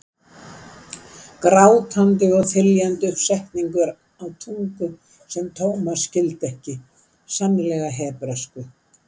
Grátandi og þyljandi upp setningar á tungu sem Thomas skildi ekki, sennilega hebresku.